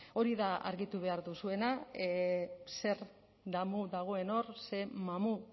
hori da argitu behar duzuena zer damu dagoen hor ze mamu